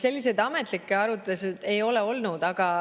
Selliseid ametlikke arutelusid ei ole olnud.